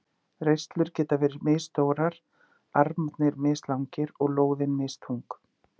Reislur geta verið misstórar, armarnir mislangir og lóðin misþung.